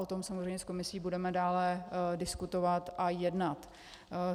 O tom samozřejmě s Komisí budeme dále diskutovat a jednat.